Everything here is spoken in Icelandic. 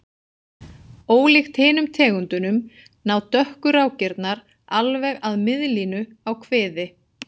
Ólíkt hinum tegundunum ná dökku rákirnar alveg að miðlínu á kviði.